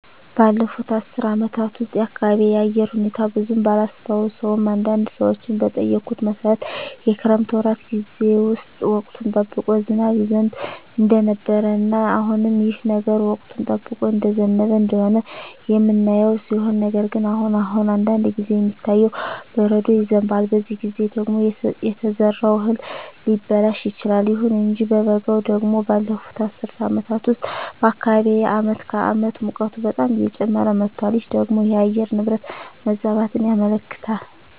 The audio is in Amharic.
ባለፉት አስር አመታት ውስጥ የአካባቢየ የአየር ሁኔታ ብዙም ባላስታውሰውም አንዳንድ ሰዎችን በጠየኩት መሠረት የክረምት ወራት ጌዜ ውስጥ ወቅቱን ጠብቆ ዝናብ ይዘንብ እንደነበረ እና አሁንም ይህ ነገር ወቅቱን ጠብቆ እየዘነበ እንደሆነ የምናየው ሲሆን ነገር ግን አሁን አሁን አንዳንድ ጊዜ የሚታየው በረዶ ይዘንባል በዚህ ጊዜ ደግሞ የተዘራው እህል ሊበላሽ ይችላል። ይሁን እንጂ በበጋው ደግሞ ባለፋት አስር አመታት ውስጥ በአካባቢየ አመት ከአመት ሙቀቱ በጣም እየጨመረ መጧል ይህ ደግሞ የአየር ንብረት መዛባትን ያመለክታል